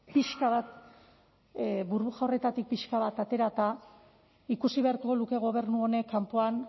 horretatik pixka bat aterata ikusi beharko luke gobernu honek kanpoan